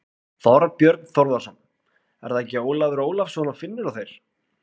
Þorbjörn Þórðarson: Er það ekki Ólafur Ólafsson og Finnur og þeir?